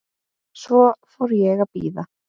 Svo fór ég að bíða.